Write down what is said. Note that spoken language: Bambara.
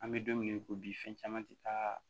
An bɛ don min na i ko bi fɛn caman tɛ taa